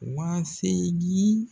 Waa seegin